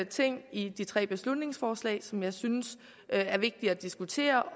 ting i de tre beslutningsforslag som jeg synes er vigtige at diskutere og